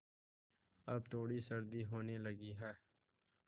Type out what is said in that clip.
अब थोड़ी सर्दी होने लगी है